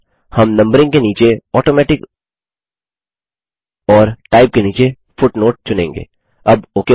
अतः हम नंबरिंग के नीचे ऑटोमेटिक और टाइप के नीचे फुटनोट चुनेंगे